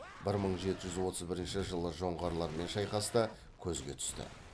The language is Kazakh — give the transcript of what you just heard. бір мың жеті жүз отыз бірінші жылы жоңғарлармен шайқаста көзге түсті